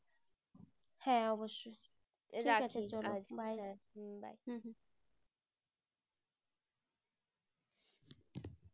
হ্যাঁ অবশ্যই